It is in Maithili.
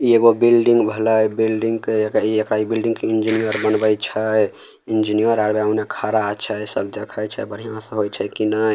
ये एगो बिल्डिंग भेलई बिल्डिंग के केहि इकाई बिल्डिंग के इंजीनियर बनवाय छै इंजीनियर आके ओने खड़ा आ छै सब देखई छय सब बढ़ियाँ होवय छै की नय।